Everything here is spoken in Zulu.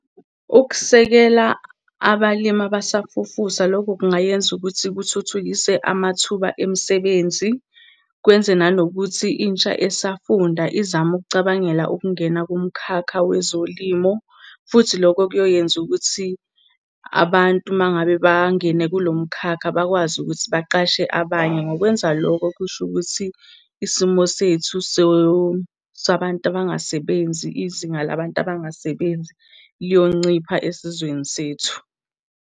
Ukusekela abalimi abasafufusa, loko kungayenza ukuthi kuthuthukise amathuba emisebenzi, kwenze nanokuthi intsha esafunda izame ukucabangela ukungena kumkhakha wezolimo, futhi loko kuyoyenza ukuthi abantu uma ngabe bangene kulo mkhakha bakwazi ukuthi baqashe abanye. Ngokwenza loko, kusho ukuthi isimo sethu sabantu abangasebenzi, izinga labantu abangasebenzi, liyoncipha esizweni sethu.